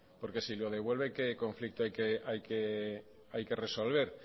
porque si lo devuelven qué conflicto hay que resolver